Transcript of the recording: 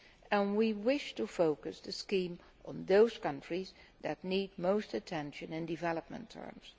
And we wished to focus the scheme on those countries that need most attention in development terms.